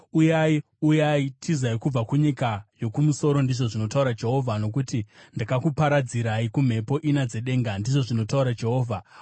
“Uyai! Uyai! Tizai kubva kunyika yokumusoro,” ndizvo zvinotaura Jehovha, “nokuti ndakakuparadzirai kumhepo ina dzedenga,” ndizvo zvinotaura Jehovha.